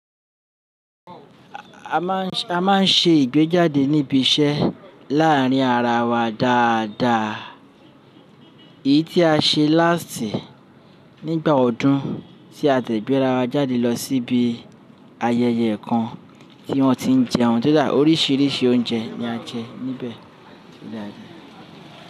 A máa ń, a máa ń ṣe ìgbéjáde níbi iṣẹ́ láàárín ara wa dáadáa. Èyí tí a ṣe láàstì nígbà ọdún tí a dẹ̀ gbẹ́'ra wa jáde lọ síbi ayẹyẹ kan tí wọ́n ti ń jẹun kó dá, Oríṣiríṣi oúnjẹ ni a jẹ níbẹ̀.